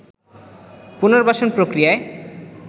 পুনর্বাসন প্রক্রিয়ায়